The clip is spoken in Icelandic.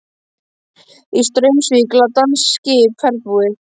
Í Straumsvík lá danskt skip, ferðbúið.